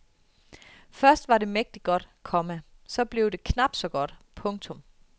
Først var det mægtig godt, komma så blev det knap så godt. punktum